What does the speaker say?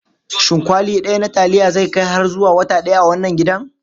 Shin kwali ɗaya na taliya zai kai har zuwa wata ɗaya a wannan gidan?